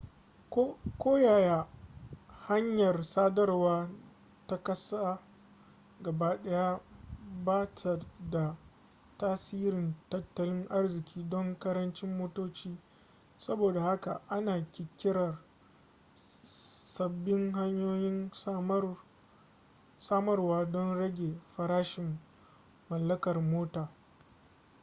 koyaya hanyar sadarwa ta ƙasa gabaɗaya ba ta da tasirin tattalin arziƙi don ƙarancin motoci saboda haka ana ƙirƙirar sabbin hanyoyin samarwa don rage farashin mallakar mota